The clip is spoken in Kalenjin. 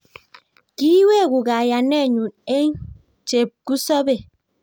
ki iweku kayanenyu eng chepkusobei